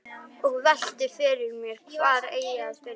Og velti fyrir mér hvar eigi að byrja.